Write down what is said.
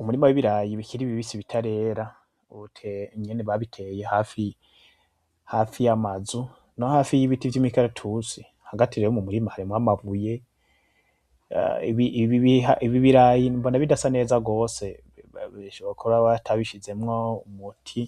Umurima wibirayi bikiri bibisi bitarera nyene babiteye hafi yamazu no hafi yibiti vyimikaratusi . Hagati rero mumurima harimo amabuye ibi birayi mbona bidasa neza gose . bishoboka ko batabishizemo umuti